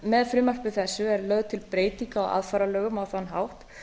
með frumvarpi þessu er lögð til breyting á aðfararlögum á þann hátt